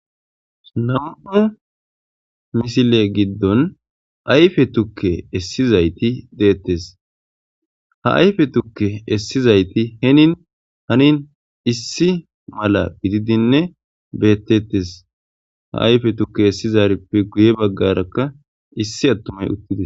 Nam'u missile giddon ayiffe tuke esizayitti dettes ha ayiffe tuke esizayitti henin hanin issi mala gididinne bettetes ha ayiffe tuke essizayrippe giuye baggaraka issi addey uttides.